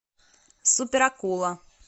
супер акула